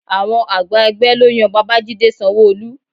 Àwọn àgbà ẹgbẹ́ ló yan Babajide Sanwo-Olu